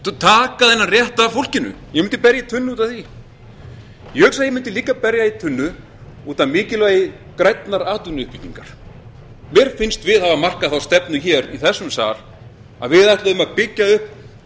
taka þennan rétt af fólkinu ég mundi berja í tunnu út af því ég hugsa að ég mundi líka berja í tunnu út af mikilvægi grænnar atvinnuuppbyggingar mér finnst við hafa markað þá stefnu í þessum sal að við ætluðum að byggja upp